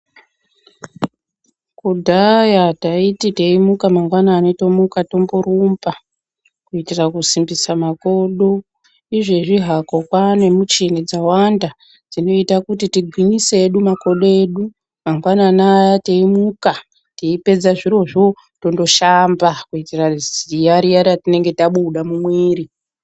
Kudhaya taiti teimuka mangwanani tomuka tomborumba kuitira kusimbisa makodo , izvezvi hako kwane muchini dzawanda dzinoita kuti tigwinyise edu makodo edu mangwanani aya teimuka teipedza zvirozvo tonoshamba kuitira ziya riya ratinenge tabuda mumwiri.